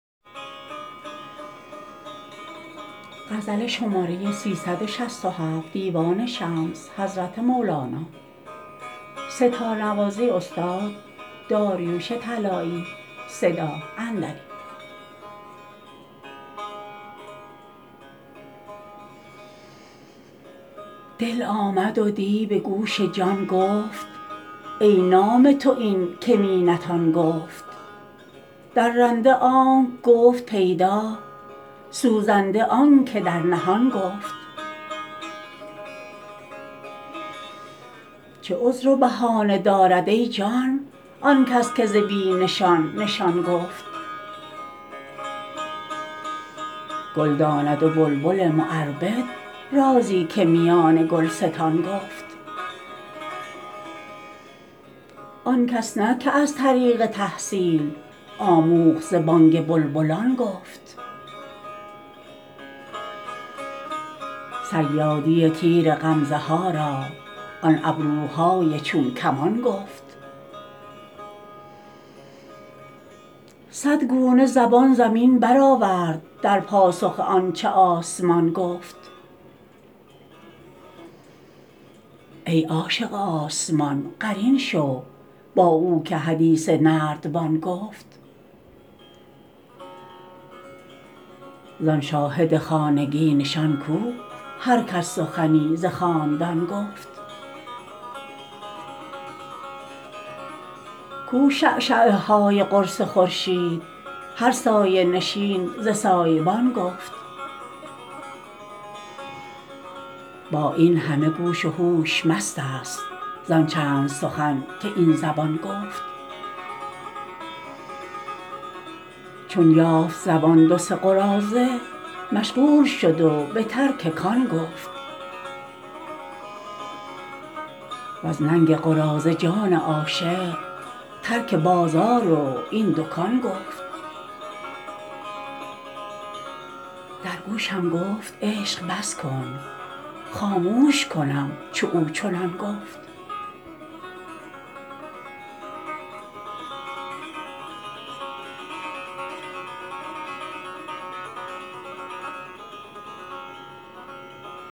دل آمد و دی به گوش جان گفت ای نام تو این که می نتان گفت درنده آنک گفت پیدا سوزنده آنک در نهان گفت چه عذر و بهانه دارد ای جان آن کس که ز بی نشان نشان گفت گل داند و بلبل معربد رازی که میان گلستان گفت آن کس نه که از طریق تحصیل آموخت ز بانگ بلبلان گفت صیادی تیر غمزه ها را آن ابروهای چون کمان گفت صد گونه زبان زمین برآورد در پاسخ آن چه آسمان گفت ای عاشق آسمان قرین شو با او که حدیث نردبان گفت زان شاهد خانگی نشان کو هر کس سخنی ز خاندان گفت کو شعشعه های قرص خورشید هر سایه نشین ز سایه بان گفت با این همه گوش و هوش مستست زان چند سخن که این زبان گفت چون یافت زبان دو سه قراضه مشغول شد و به ترک کان گفت وز ننگ قراضه جان عاشق ترک بازار و این دکان گفت در گوشم گفت عشق بس کن خاموش کنم چو او چنان گفت